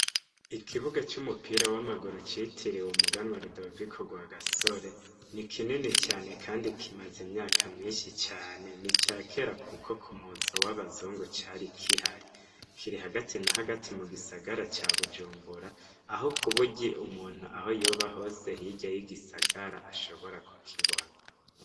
Ikibuga c'umupira wamaguru citiriwe umuganwa Rudoviko Rwagasore nikinini cane Kandi kimaze imyaka nyinshi cane nicakera kuko kumuzo wabazungu cari giharii. Kiri hagati na hagati mugisagara ca Bujumbura aho kuburyo umuntu aho yoba hose hirya yigisagara ashobora kukibona.